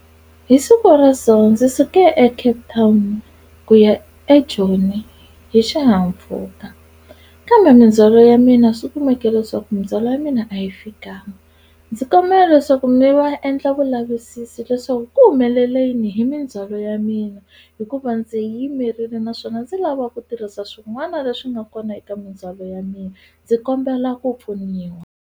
Hi siku ra so ndzi suke eCape Town ku ya eJoni hi xihahampfhuka kambe mindzhwalo ya mina swi kumeke leswaku mindzhwalo ya mina a yi fikanga. Ndzi kombela leswaku mi va endla vulavisisi leswaku ku humelele yini hi mindzhwalo ya mina hikuva ndzi yi yimerile naswona ndzi lava ku tirhisa swin'wana leswi nga kona eka mindzhwalo ya mina ndzi kombela ku pfuniwa.